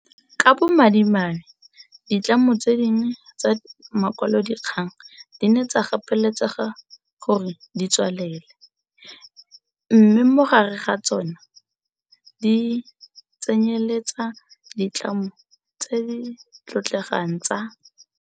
Ka bo madimabe ditlamo tse dingwe tsa makwalodikgang di ne tsa gapeletsega gore di tswalele, mme mo gare ga tsona di tsenyeletsa le ditlamo tse di tlotlegang tsa.